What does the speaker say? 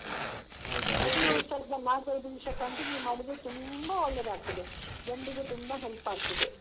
ತುಂಬಾ ಉಷಾರಿಲ್ಲದಾಗ ಮಾತ್ರ ಇದು ದಿವ್ಸ continue ಮಾಡಿದ್ರೆ ತುಂಬ ಒಳ್ಳೇದಾಗ್ತದೆ ತುಂಬ help ಆಗ್ತದೆ.